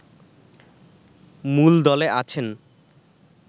মূলদলে আছেন